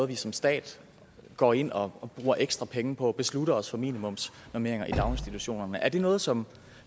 vi som stat går ind og bruger ekstra penge på at beslutte os for minimumsnormeringer i daginstitutionerne er det noget som